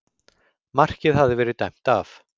Markið hafði verið dæmt af